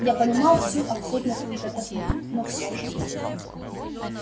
я понимал всю абсурдность приготовлений но все же